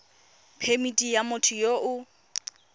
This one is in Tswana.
phemithi ya motho yo o